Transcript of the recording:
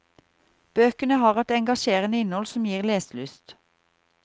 Bøkene har et engasjerende innhold som gir leselyst.